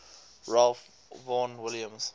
ralph vaughan williams